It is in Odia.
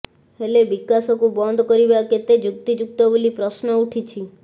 ହେଲେ ବିକାଶକୁ ବନ୍ଦ କରିବା କେତେ ଯୁକ୍ତିଯୁକ୍ତ ବୋଲି ପ୍ରଶ୍ନ ଉଠିଛି